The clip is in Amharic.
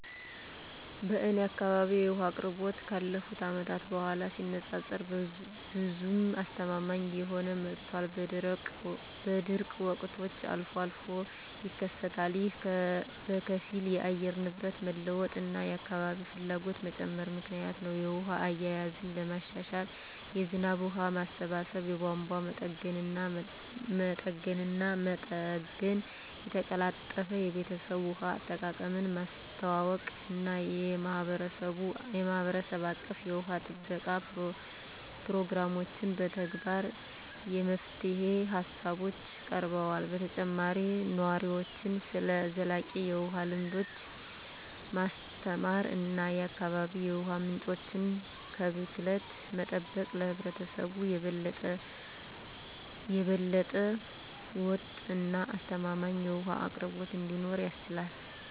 በእኔ አካባቢ የውሃ አቅርቦት ካለፉት አመታት ጋር ሲነፃፀር ብዙም አስተማማኝ እየሆነ መጥቷል፣ በደረቅ ወቅቶች አልፎ አልፎም ይከሰታሉ። ይህ በከፊል የአየር ንብረት መለዋወጥ እና የአካባቢ ፍላጎት መጨመር ምክንያት ነው. የውሃ አያያዝን ለማሻሻል የዝናብ ውሃ ማሰባሰብ፣ የቧንቧ መጠገንና መጠገን፣ የተቀላጠፈ የቤተሰብ ውሃ አጠቃቀምን ማስተዋወቅ እና የማህበረሰብ አቀፍ የውሃ ጥበቃ ፕሮግራሞችን መተግበር የመፍትሄ ሃሳቦች ቀርበዋል። በተጨማሪም ነዋሪዎችን ስለ ዘላቂ የውሃ ልምዶች ማስተማር እና የአካባቢ የውሃ ምንጮችን ከብክለት መጠበቅ ለህብረተሰቡ የበለጠ ወጥ እና አስተማማኝ የውሃ አቅርቦት እንዲኖር ያስችላል።